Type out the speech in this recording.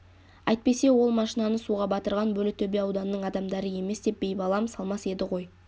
әйтпесе ол машинаны суға батырған бөрлітөбе ауданының адамдары емес деп байбалам салмас еді ғой